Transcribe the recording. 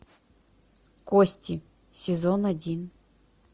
кости сезон один